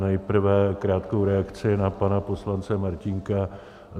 Nejprve krátkou reakci na pana poslance Martínka.